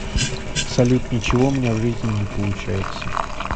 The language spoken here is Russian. салют ничего у меня в жизни не получается